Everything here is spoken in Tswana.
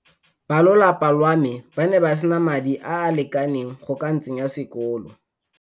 Balolapa lwa me ba ne ba sena madi a a lekaneng go ka ntsenya sekolo.